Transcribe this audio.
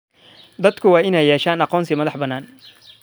Dadku waa inay yeeshaan aqoonsi madax-bannaan.